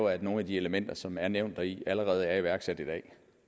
at nogle af de elementer som er nævnt deri allerede er iværksat i dag